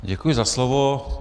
Děkuji za slovo.